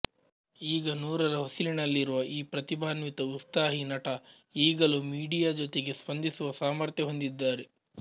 ಈಗ ನೂರರ ಹೊಸಿಲಿನಲ್ಲಿರುವ ಈ ಪ್ರತಿಭಾನ್ವಿತ ಉತ್ಸಾಹಿ ನಟ ಈಗಲೂ ಮೀಡಿಯ ಜೊತೆಗೆ ಸ್ಪಂದಿಸುವ ಸಾಮರ್ಥ್ಯ ಹೊಂದಿದ್ದಾರೆ